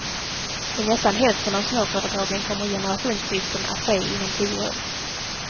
I nästan hälften av småföretagen kommer generationsskiften att ske inom tio år.